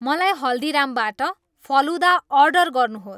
मलाई हल्दीरामबाट फलुदा अर्डर गर्नुहोस्